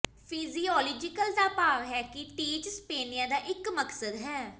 physiological ਦਾ ਭਾਵ ਹੈ ਕਿ ਟੀਚ ਸਪਨੇਆ ਦਾ ਇਕ ਮਕਸਦ ਹੈ